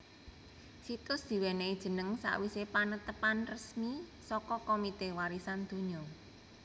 Situs diwènèhi jeneng sawisé panetapan resmi saka Komite Warisan Donya